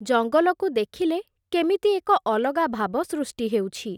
ଜଙ୍ଗଲକୁ ଦେଖିଲେ, କେମିତି ଏକ ଅଲଗା ଭାବ ସୃଷ୍ଟି ହେଉଛି ।